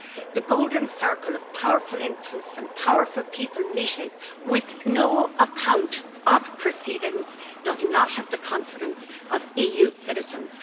The golden circle of powerful interests and powerful people meeting with no account of proceedings does not have the confidence of EU citizens.